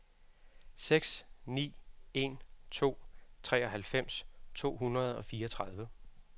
seks ni en to treoghalvfems to hundrede og fireogtredive